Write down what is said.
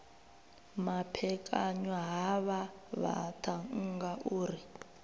maphekanywa havha vhaṱhannga u ri